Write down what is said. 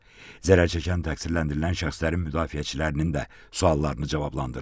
Zərər çəkən təqsirləndirilən şəxslərin müdafiəçilərinin də suallarını cavablandırdı.